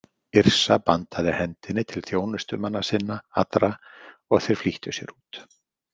Yrsa bandaði hendinni til þjónustumanna sinna allra og þeir flýttu sér út.